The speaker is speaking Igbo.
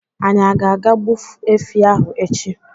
Anyị ágá àgá gbu efi ahụ echi